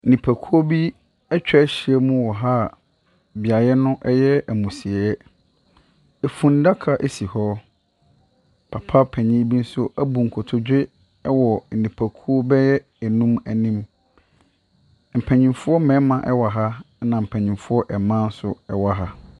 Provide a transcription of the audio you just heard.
Nnipakuow yi atwa ahyiam wɔ ha a, beaeɛ no yɛ amusieɛ. Efunaka si hɔ. Papa panin bi nso abu nkotodwe wɔ nnipakuo bɛyɛ anum anim. Mpanimfoɔ mmarima wɔ ha. Na mpanimfo mmaa nso wɔ ha.